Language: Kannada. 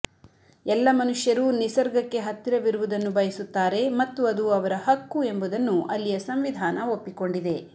ಎಲ್ಲ ಮನುಷ್ಯರೂ ನಿಸರ್ಗಕ್ಕೆ ಹತ್ತಿರವಿರುವುದನ್ನು ಬಯಸುತ್ತಾರೆ ಮತ್ತು ಅದು ಅವರ ಹಕ್ಕು ಎಂಬುದನ್ನು ಅಲ್ಲಿಯ ಸಂವಿಧಾನ ಒಪ್ಪಿಕೊಂಡಿದೆ